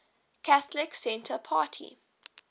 catholic centre party